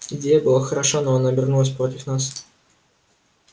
идея была хороша но она обернулась против нас